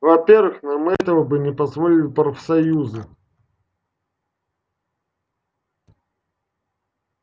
во-первых нам этого не позволили бы профсоюзы